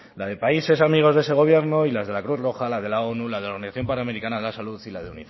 la de países amigos de ese gobierno y las de la cruz roja la de la onu la de la organización panamericana de la salud y la de